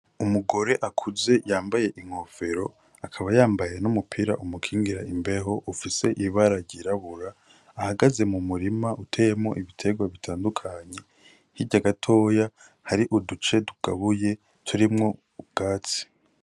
Umugore akuze yambaye inkofero akaba yambaye n’umupira umukingira imbeho ufise ibara ryirabura ,ahagaze mu murima uteyemwo ibiterwa bitandukanye hirya gatoya hari uduce tugabuye turimwo ubwatsi.